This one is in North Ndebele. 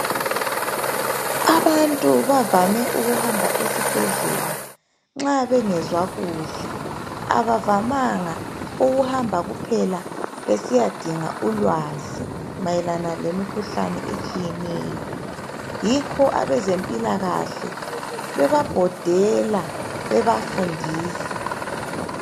Abantu bavame ukuhamba esibhedlela nxa bengezwa kuhle. Abavamanga ukuhamba kuphela besiyadinga ulwazi, mayelana lemikuhlane etshiyeneyo. Yikho bezemphilakahle bebabhodela bebafundisa.